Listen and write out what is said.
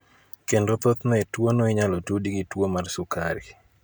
Kendo thoth ne tuo no inyalo tudi gi tuo mar sukari.